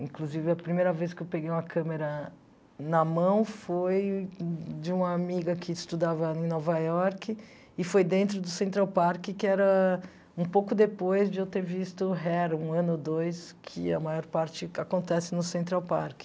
Inclusive, a primeira vez que eu peguei uma câmera na mão foi de uma amiga que estudava em Nova York e foi dentro do Central Park, que era um pouco depois de eu ter visto Hair, um ano ou dois, que a maior parte acontece no Central Park.